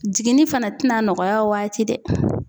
Jiginnin fana tɛna nɔgɔya o waati dɛ